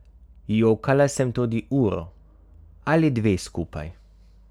Jokala sem tudi uro ali dve skupaj.